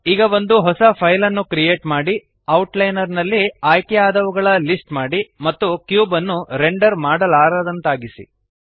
ಈಗ ಒಂದು ಹೊಸ ಫೈಲ್ ಅನ್ನು ಕ್ರಿಯೇಟ್ ಮಾಡಿ ಔಟ್ಲೈನರ್ ನಲ್ಲಿ ಆಯ್ಕೆಯಾದವುಗಳ ಲಿಸ್ಟ್ ಮಾಡಿ ಮತ್ತು ಕ್ಯೂಬ್ ಅನ್ನು ರೆಂಡರ್ ಮಾಡಲಾರದಂತಾಗಿಸಿ